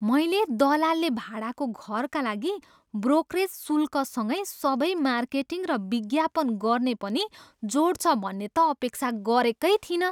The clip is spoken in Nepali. मैले दलालले भाडाको घरका लागि ब्रोकरेज शुल्कसँगै सबै मार्केटिङ र विज्ञापन गर्ने पनि जोड्छ भन्ने त अपेक्षा गरेकै थिइनँ।